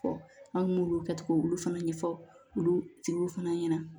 Fɔ an m'olu kɛcogo fana ɲɛfɔ olu tigiw fana ɲɛna